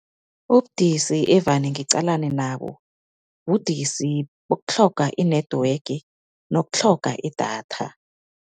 Ubudisi evane ngiqalene nabo, budisi bokutlhoga i-network nokutlhogeka idatha.